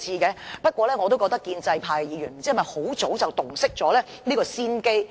然而，我也不知道建制派議員是否早已洞悉先機。